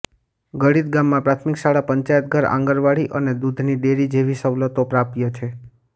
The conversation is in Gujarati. ગડીત ગામમાં પ્રાથમિક શાળા પંચાયતઘર આંગણવાડી અને દૂધની ડેરી જેવી સવલતો પ્રાપ્ય છે